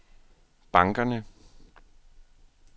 bankerne